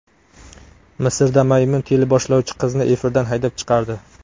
Misrda maymun teleboshlovchi qizni efirdan haydab chiqardi .